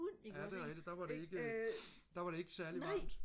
ja det er rigtigt der var det ikke der var det ikke særlig varmt